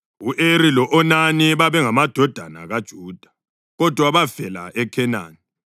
U-Eri lo-Onani babengamadodana kaJuda, kodwa bafela eKhenani.